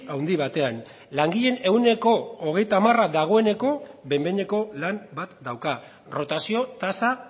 handi batean langileen ehuneko hogeita hamara dagoeneko behin behineko lan bat dauka rotazio tasa